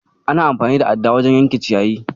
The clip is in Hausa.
Ana amfani da adda wajen yanke ciyayi.